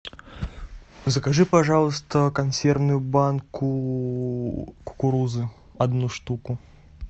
закажи пожалуйста консервную банку кукурузы одну штуку